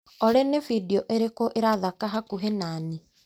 Olĩ nĩ bindiũ ĩrĩkũ ĩrathaka hakuhĩ nani.